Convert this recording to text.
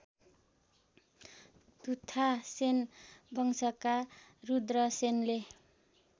तुथासेन वंशका रुद्रसेनले